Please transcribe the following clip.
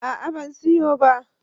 A'a ban siyo ba